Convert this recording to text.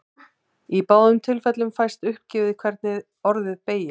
Í báðum tilfellum fæst uppgefið hvernig orðið beygist.